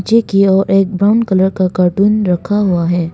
Check किया हुआ और एक ब्राउन कलर का कार्टून रखा हुआ है।